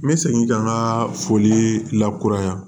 N bɛ segin ka n ka foli lakura yan